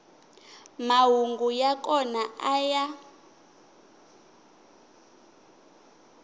mahungu ya kona a ya